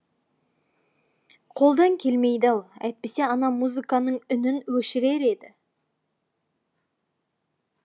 қолдан келмейді ау әйтпесе ана музыканың үнін өшірер еді